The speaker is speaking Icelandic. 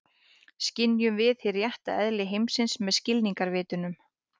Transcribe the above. Skynjum við hið rétta eðli heimsins með skilningarvitunum?